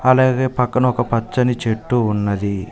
అలాగే పక్కన ఒక పచ్చని చెట్టు ఉన్నది.